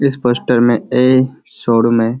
जिस पोस्‍टर में a showroom है।